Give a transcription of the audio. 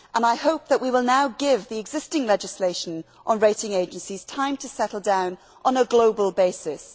I hope that we will now give the existing legislation on rating agencies time to settle down on a global basis.